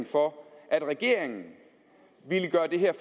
for at regeringen ville gøre det her